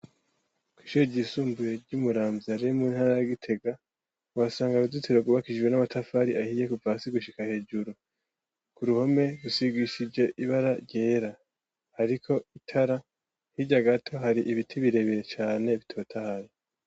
Ko ishijisumduye ry'umuramvya remu ntaragitega wasanga aruzitsiro gubakishije n'amatafari ahiye ku vasi gushika hejuru ku ruhome gusigishije ibara ryera hariko itara hirya gato hari ibiti birebire cane bitota hari.